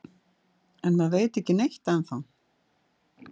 En maður veit ekki neitt ennþá